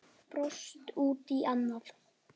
Brosti út í annað.